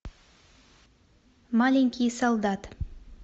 маленький солдат